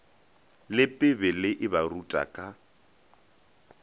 le bibele e baruta ka